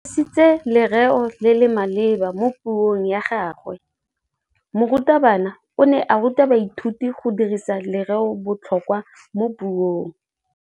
O dirisitse lerêo le le maleba mo puông ya gagwe. Morutabana o ne a ruta baithuti go dirisa lêrêôbotlhôkwa mo puong.